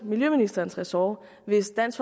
miljøministerens ressort og hvis dansk